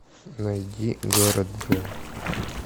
найди город зе